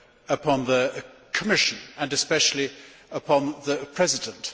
upon the Commission and especially upon the President.